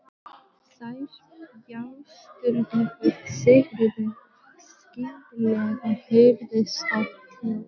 Þær bjástruðu við Sigríði og skyndilega heyrðist hátt hljóð.